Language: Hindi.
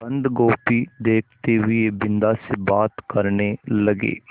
बन्दगोभी देखते हुए बिन्दा से बात करने लगे